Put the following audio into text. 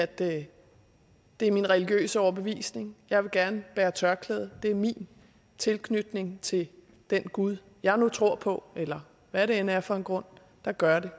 det er min religiøse overbevisning jeg vil gerne bære tørklæde det er min tilknytning til den gud jeg nu tror på eller hvad det end er for en grund der gør det